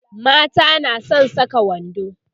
mata na San Saka wando